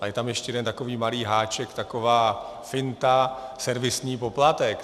Ale je tam ještě jeden takový malý háček, taková finta - servisní poplatek.